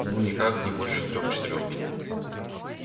ну никак не больше трёх четырёх